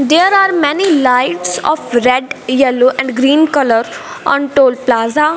there are many lights of red yellow and green colour on toll plaza.